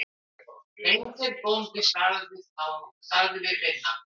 Beinteinn bóndi sagði við Binna